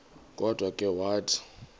kodwa ke wathi